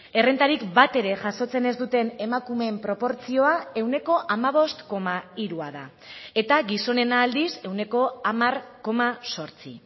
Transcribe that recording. errentarik batere jasotzen ez duten emakumeen proportzioa ehuneko hamabost koma hirua da eta gizonena aldiz ehuneko hamar koma zortzi